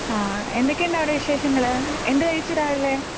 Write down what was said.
എന്തൊക്കെയുണ്ട് അവിടെ വിശേഷങ്ങള് എന്ത് കഴിച്ചു രാവിലെ